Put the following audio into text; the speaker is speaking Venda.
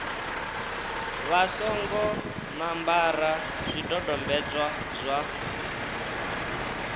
vha songo ṋambara zwidodombedzwa zwa